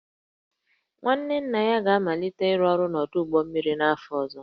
nwanne nna ya ga-amalite ịrụ ọrụ n'ọdụ ụgbọ mmiri n'afọ ọzọ